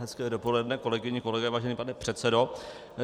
Hezké dopoledne, kolegyně, kolegové, vážený pane předsedo.